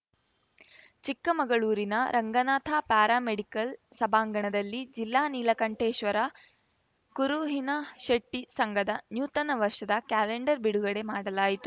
ಚಿಕ್ಕಮಗಳೂರಿನ Ranganatha para medical ಸಭಾಂಗಣದಲ್ಲಿ ಜಿಲ್ಲಾ ನೀಲಕಂಠೇಶ್ವರ ಕುರುಹಿನಶೆಟ್ಟಿಸಂಘದ ನೂತನ ವರ್ಷದ ಕ್ಯಾಲೆಂಡರ್‌ ಬಿಡುಗಡೆ ಮಾಡಲಾಯಿತು